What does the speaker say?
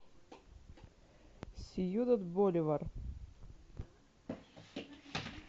сьюдад боливар